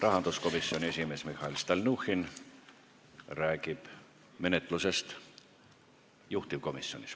Rahanduskomisjoni esimees Mihhail Stalnuhhin räägib menetlusest juhtivkomisjonis.